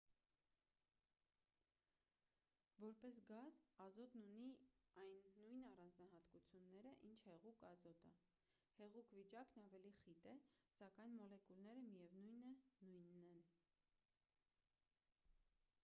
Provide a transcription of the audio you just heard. որպես գազ ազոտն ունի այն նույն առանձնահատկությունները ինչ հեղուկ ազոտը հեղուկ վիճակն ավելի խիտ է սակայն մոլեկուլները միևնույն է նույնն են